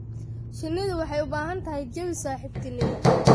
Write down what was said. Shinnidu waxay u baahan tahay jawi saaxiibtinimo.